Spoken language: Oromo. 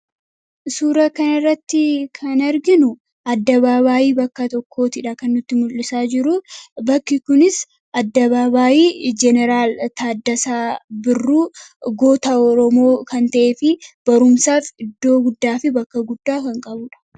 Suuraa kanarratti kan arginu dirree bakka tokkootidha kan nutti mul'isaa jiru. Bakki kunis daandii jeneraal Taaddasaa Birruu goota oromoo kan ta'ee fi barumsaaf iddoo guddaa fi bakka guddaa kan qabudha.